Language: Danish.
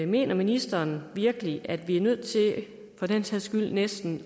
mener ministeren virkelig at vi er nødt til for den sags skyld næsten